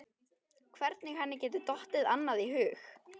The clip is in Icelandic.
Hvernig henni geti dottið annað í hug?